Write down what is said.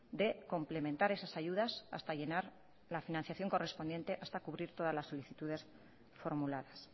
de complementar esas ayudas hasta llenar la financiación correspondiente hasta cubrir todas las solicitudes formuladas